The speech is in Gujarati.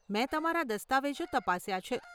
મેં તમારા દસ્તાવેજો તપાસ્યા છે.